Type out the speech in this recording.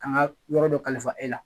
K'an ka yɔrɔ dɔ kalifa e la.